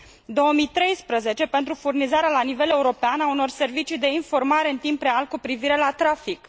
2013 pentru furnizarea la nivel european a unor servicii de informare în timp real cu privire la trafic